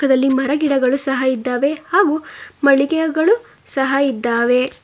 ಚಿತ್ರದಲ್ಲಿ ಮರ ಗಿಡಗಳು ಸಹ ಇದ್ದಾವೆ ಹಾಗು ಮಳಿಗೆಗಳು ಸಹ ಇದ್ದಾವೆ.